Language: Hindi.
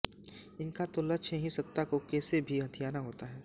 इन का तो लक्ष्य ही सत्ता को केसे भी हथियाना होता है